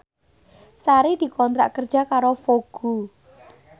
Sari dikontrak kerja karo Vogue